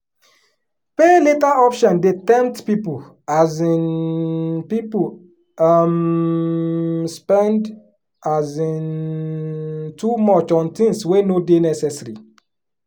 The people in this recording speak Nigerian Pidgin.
pay later option dey tempt people um people um spend um too much on things wey no dey necessary.